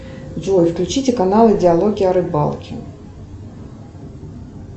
джой включите канал диалоги о рыбалке